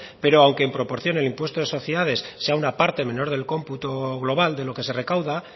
pero aunque en proporción el impuesto de sociedades sea una parte menor del cómputo global de lo que se recauda